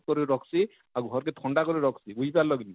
କରି ରଖସି ଆଉ ଘରକେ ଥଣ୍ଡା କରି ରଖସି ବୁଝି ପାରଳ କିନି